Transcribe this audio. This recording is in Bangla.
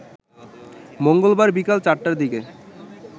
মঙ্গলবার বিকেল ৪টার দিকে